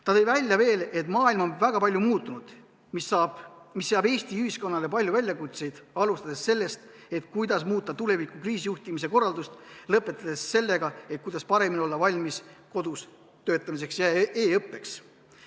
Ta tõi veel välja, et maailm on väga palju muutunud, mis seab Eesti ühiskonna ette palju väljakutseid, alustades sellest, kuidas muuta tuleviku kriisijuhtimise korraldust, lõpetades sellega, kuidas paremini olla valmis kodus töötamiseks ja e-õppeks.